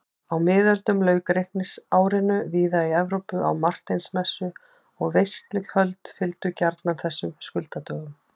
Á miðöldum lauk reikningsárinu víða í Evrópu á Marteinsmessu og veisluhöld fylgdu gjarnan þessum skuldadögum.